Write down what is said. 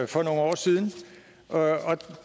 for nogle år siden og